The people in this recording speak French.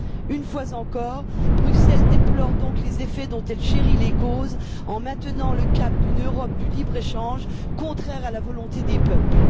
Une fois encore, Bruxelles déplore donc les effets dont elle chérit les causes en maintenant le cap d'une Europe du libre échange, contraire à la volonté des peuples.